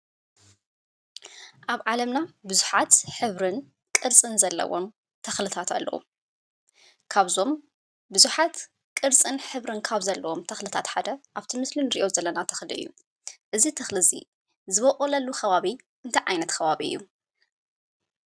ኣብ ዓለምና ብዙሓት ሕብሪን ቅርፅን ዘለዎም ተኽሊታት ኣለው። ካብዞም ብዙሓት ቅርፅን ሕብሪን ካብ ዘለዎም ተኽልታት ሓደ ኣብቲ ምስሊ እንሪኦ ዘለና ተኽሊ እዩ። እዚ ተኽሊ እዚ ዝበቁለሉ ከባቢ እንታይ ዓይነት ከባቢ እዩ ?